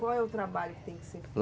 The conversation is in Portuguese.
Qual é o trabalho que tem que ser feito?